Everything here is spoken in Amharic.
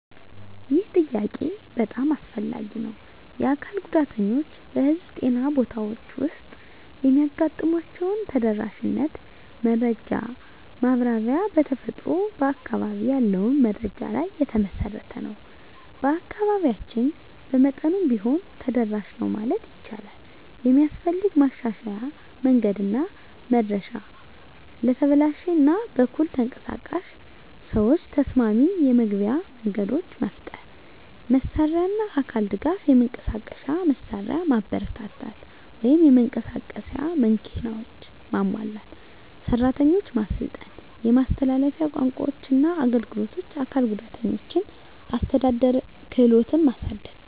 ይህ ጥያቄ በጣም አስፈላጊ ነው። የአካል ጉዳተኞች በህዝብ ጤና ቦታዎች ውስጥ የሚያጋጥሟቸውን ተደራሽነት መረጃ ማብራሪያ በተፈጥሮ በአካባቢ ያለውን መረጃ ላይ የተመሠረተ ነው። በአካባቢያችን በመጠኑም ቢሆን ተደራሽ ነው ማለት ይቻላል። የሚስፈልግ ማሻሻያ መንገድና መድረሻ ለተበላሽ እና በኩል ተንቀሳቃሽ ሰዎች ተስማሚ የመግቢያ መንገዶች መፍጠር። መሳሪያና አካል ድጋፍ የመንቀሳቀሻ መሳሪያ ማበረታታት (የመንቀሳቀስ መኪናዎች) ማሟላት። ሰራተኞች ማሰልጠን የማስተላለፊያ ቋንቋዎችና አገልግሎት አካል ጉዳተኞችን አስተዳደር ክህሎትን ማሳደግ።